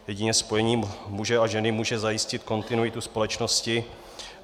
Jedině spojení muže a ženy může zajistit kontinuitu společnosti.